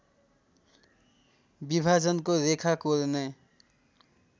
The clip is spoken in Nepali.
विभाजनको रेखा कोर्ने